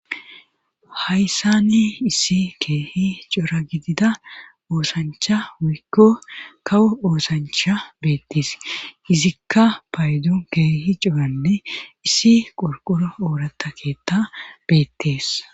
Hayssani issi keehi cora gidida oosancha wuykko kawo oosancha beettes izikka paydon keehi coranne issi qorqoro oorata keetta beettees.